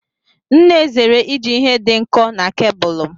M na-ezere iji ihe dị nkọ n'cabulu m.